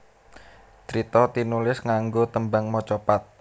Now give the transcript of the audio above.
Crita tinulis nganggo tembang macapat